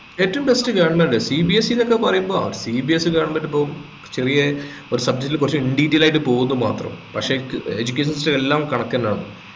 ഏറ്റവും best govermentCBSE എന്നൊക്കെ പറയുമ്പോൾ CBSE യും goverment ഉം ഇപ്പൊ ചെറിയ ഒരു subject കുറച്ച് in detail ആയിട്ട് പോവുന്നു മാത്രം പക്ഷേ ഏർ educational system എല്ലാം കണക്കെന്നെയാണ്